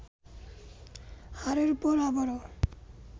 হারের পর আবারো